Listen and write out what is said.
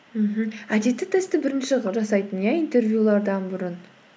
мхм әдетті тестті бірінші қылып жасайтын иә интервьюлардан бұрын